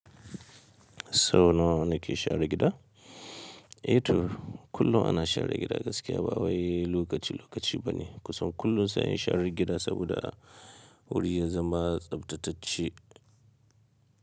Sau nawa nake share gida? Eh to, kullum ana share gida gaskiya ba wani lokaci lokaci bane. Kusan kullum sai an share gida saboda guri ya zama tsaftatacce.